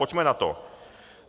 Pojďme na to!